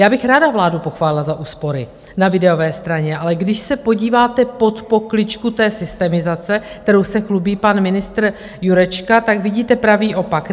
Já bych ráda vládu pochválila za úspory na výdajové straně, ale když se podíváte pod pokličku té systemizace, kterou se chlubí pan ministr Jurečka, tak vidíte pravý opak.